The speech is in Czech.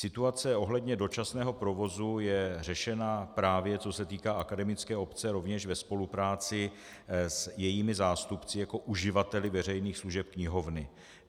Situace ohledně dočasného provozu je řešena, právě co se týká akademické obce, rovněž ve spolupráci s jejími zástupci jako uživateli veřejných služeb knihovny.